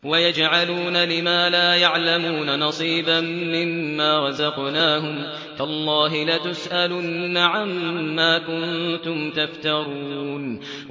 وَيَجْعَلُونَ لِمَا لَا يَعْلَمُونَ نَصِيبًا مِّمَّا رَزَقْنَاهُمْ ۗ تَاللَّهِ لَتُسْأَلُنَّ عَمَّا كُنتُمْ تَفْتَرُونَ